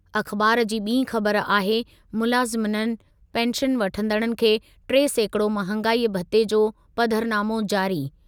अख़बार जी ॿी ख़बर आहे, मुलाज़िमनि, पेंशन वठंदड़नि खे टे सैकिड़ो महांगाई भते जो पधरनामो जारी।